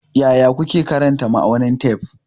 Yaya kuke karanta ma'aunin tef?